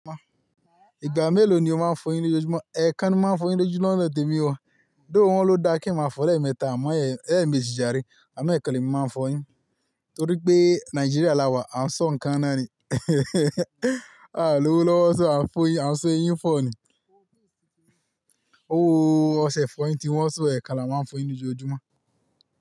Ìgbà mélòó ni o máa ń fọ eyín lójúmọ́? Ẹ̀ẹ̀kan ni wọ́n máa ń fọ eyín lójú lọ́nà tèmi wọ́n. Gẹ́gẹ́ bí wọ́n ló dá kí n máa fọ ọ̀rẹ́ mẹ́ta, àmọ́ èyí mi sì járe. Àmọ́ ẹkan ni emi máa ń fọ eyín torí pé Nàìjíríà la wà, a ń sọ ǹkan náà ni. A lowo lọ́wọ́ sọ a ń fọ eyín, a ń sọ eyín fọ́ ni. Ówo o, ọṣẹ ìfọ eyín tí wọ́n ń sọ ẹ̀ka la wọ́n máa ń fọ eyín lójo ojúmọ́